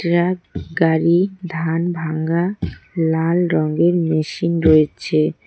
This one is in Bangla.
ট্রাক গাড়ি ধান ভাঙ্গা লাল রঙের মেশিন রয়েছে।